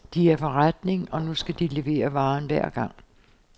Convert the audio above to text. De er forretning, og nu skal de levere varen hver gang.